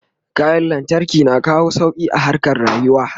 kayan lantarki na kawo sauki a harkan rayuwa